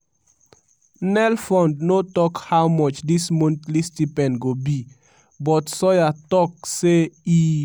nelfund no tok how much dis monthly stipend go be but sawyer tok say e